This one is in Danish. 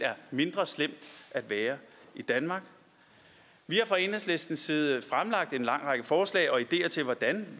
mindre slemt i danmark vi har fra enhedslistens side fremlagt en lang række forslag og ideer til hvordan